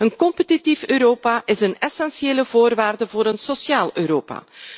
Een competitief Europa is een essentiële voorwaarde voor een sociaal Europa.